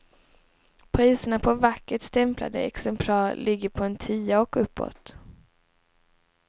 Priserna på vackert stämplade exemplar ligger på en tia och uppåt.